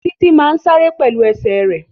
Títí má sáré pẹ̀lú ẹsẹ̀ rẹ̀